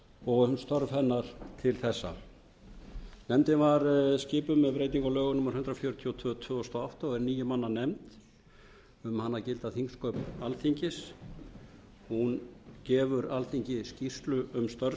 og um störf hennar til þessa nefndin var skipuð með breytingu á lögum númer hundrað fjörutíu og tvö tvö þúsund og átta og er níu manna nefnd um hana gilda þingsköp alþingis hún gefur alþingi skýrslu um störf